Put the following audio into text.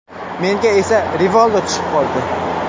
Menga esa Rivaldo tushib qoldi.